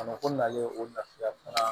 A mako nalen o lafiya fana